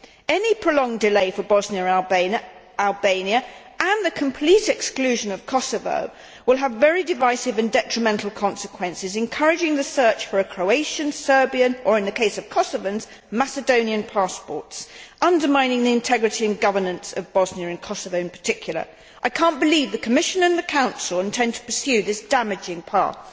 Any prolonged delay for Bosnia and Albania and the complete exclusion of Kosovo will have very divisive and detrimental consequences, encouraging the search for Croatian, Serbian or, in the case of Kosovars, Macedonian passports, and undermining the integrity and governance of Bosnia and Kosovo in particular. I cannot believe the Commission and the Council intend to pursue this damaging path.